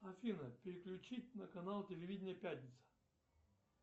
афина переключи на канал телевидения пятница